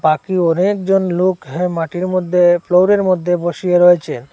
বাকি অনেকজন লোক হ্যাঁ মাটির মধ্যে ফ্লোরের মধ্যে বসিয়ে রয়েছে।